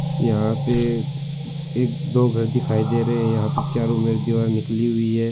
यहाँ पे एक दो घर दिखाय दे रहे है चारो और दीवार निकली हुई है।